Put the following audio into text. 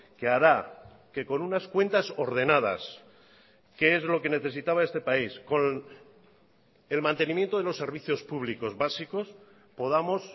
que hará que con unas cuentas ordenadas que es lo que necesitaba este país con el mantenimiento de los servicios públicos básicos podamos